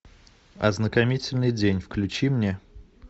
ознакомительный день включи мне